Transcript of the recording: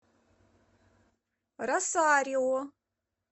росарио